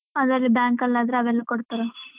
ಅದೇ ಅದೇ bank ಅಲ್ಲಿ ಆದ್ರೆ ಅವೆಲ್ಲ ಕೊಡ್ತಾರೆ.